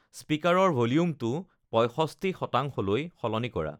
স্পিকাৰৰ ভ'ল্যুমটো পয়ষষ্ঠী শতাংশলৈ সলনি কৰা